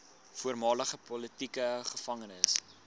voormalige politieke gevangenes